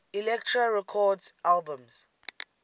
elektra records albums